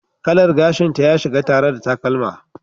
Kalar gashinta ya shiga tare da takalma.